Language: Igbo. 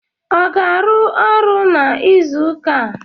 Ọ ga-arụ ọrụ n'izụka a?